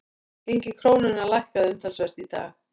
Gengi krónunnar lækkaði umtalsvert í dag